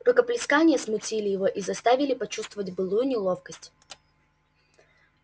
рукоплескания смутили его и заставили почувствовать былую неловкость